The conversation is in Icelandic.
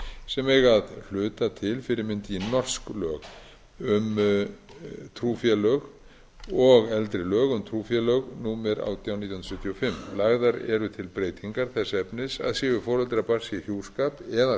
sem eiga að hluta til fyrirmynd í norsk lög um trúfélög og eldri lög um trúfélög númer átján nítján hundruð sjötíu og fimm lagðar eru til breytingar þess efnis að séu foreldrar barns í hjúskap eða